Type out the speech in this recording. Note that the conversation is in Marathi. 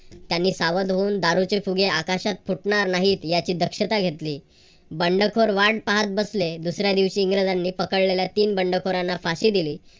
त्यांनी सावध होऊन दारूचे फुगे आकाशात फुटणार नाहीत याची दक्षता घेतली. बंडखोर वाट पाहत बसले. दुसऱ्या दिवशी बंडखोरांनी पकडलेल्या तीन इंग्रजांना फाशी दिली.